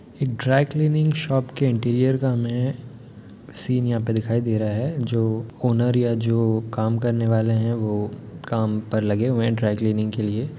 एक dry cleaning shop की interior का हमें सीन यहाँ पे दिखाई दे रहा है जो ओनर या जो काम करने वाले हैं वो काम पर लगे हुए हैं ड्राई-क्लीनिंग के लिए।